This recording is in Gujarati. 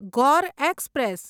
ગોર એક્સપ્રેસ